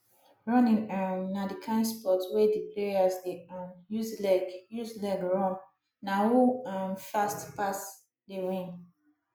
running um na di kind sport wey di players de um use leg use leg run na who um fast pass dey win